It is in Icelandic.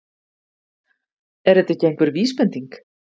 Er þetta ekki einhver vísbending?